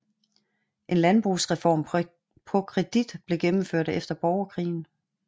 En landbrugsreform på kredit blev gennemført efter borgerkrigen